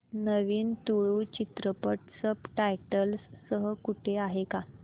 नवीन तुळू चित्रपट subtitles सह कुठे आहे का